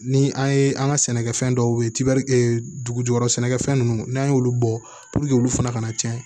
Ni an ye an ka sɛnɛkɛfɛn dɔw ye dugujukɔrɔ sɛnɛkɛfɛn ninnu n'an y'olu bɔ olu fana ka na cɛn